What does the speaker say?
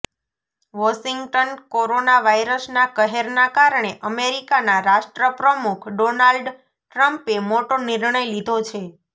Washington corona વાયરસના કહેરના કારણે અમેરિકાના રાષ્ટ્રપ્રમુખ ડોનાલ્ડ ટ્રમ્પે મોટો નિર્ણય લીધો છે